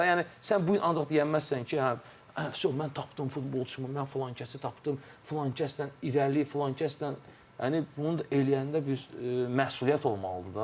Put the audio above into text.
Fərqli-fərqli yanaşma var da, yəni sən bu gün ancaq deyə bilməzsən ki, hə, fyo, mən tapdım futbolçumu, mən filankəsi tapdım, filankəslə irəli, filankəslə yəni bunu eləyəndə bir məsuliyyət olmalıdır da.